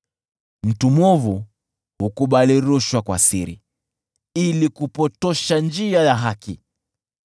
Mtu mwovu hukubali rushwa kwa siri ili kupotosha njia ya haki.